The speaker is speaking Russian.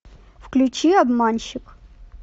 включи обманщик